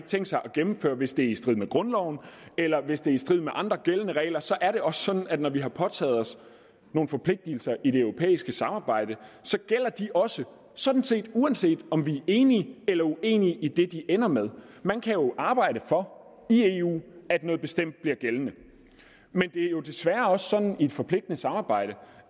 tænkt sig at gennemføre hvis det er i strid med grundloven eller hvis det er i strid med andre gældende regler så er det også sådan at når vi har påtaget os nogle forpligtelser i det europæiske samarbejde gælder de også sådan set uanset om vi er enige eller uenige i det de ender med man kan jo arbejde for i eu at noget bestemt bliver gældende men det er jo desværre også sådan i et forpligtende samarbejde